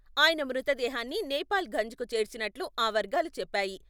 ఆయన మృతదేహాన్ని నేపాల్ ఘంజ్ కు చేర్చినట్లు ఆ వర్గాలు చెప్పాయి.